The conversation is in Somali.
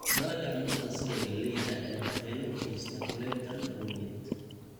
Dalagga cuntada sida galleyda ayaa waxyeello u geysata kulayl daran awgeed.